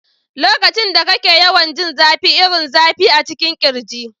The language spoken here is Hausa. Lokacin da kake yawan jin zafi irin zafi a cikin kirji.